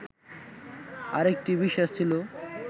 আরেকটি বিশ্বাস ছিল